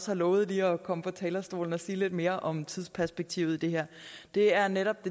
har lovet lige at komme på talerstolen og sige lidt mere om tidsperspektivet i det her det er netop